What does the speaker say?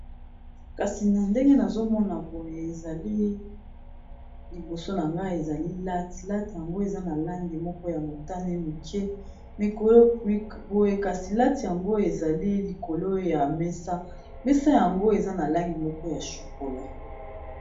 Kasi na ndenge nazo mona boye ezali liboso na ngai, ezali latte . Latte yango eza na langi moko ya motane moke boye kasi latte yango ezali likolo ya mesa . Mesa yango eza na langi moko ya chocola .